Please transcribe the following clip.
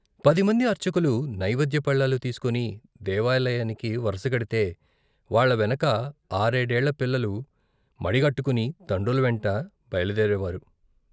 పదిమంది అర్చకులు నైవేద్య ప్పళ్ళాలు తీసుకుని దేవాలయానికి వరసగడితే వాళ్ళ వెనక ఆరేడేళ్ళ పిల్లలు మడిగట్టుకుని తండ్రుల వెంట బయలుదేరేవారు.